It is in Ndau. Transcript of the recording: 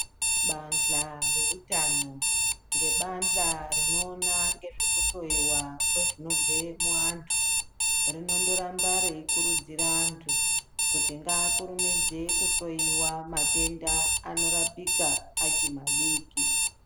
Bahla reutano ngebahla rinoona nezvekuhloiwa kwezvinobve muantu rinondoramba reikurudzira antu kuti ngaakurumidze kuhloiwa matenda anorapika achimadiki.